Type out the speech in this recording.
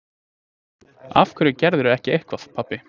Af hverju gerirðu ekki eitthvað, pabbi?